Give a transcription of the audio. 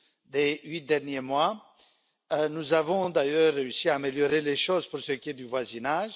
des huit derniers mois, nous avons d'ailleurs réussi à améliorer les choses pour ce qui est du voisinage.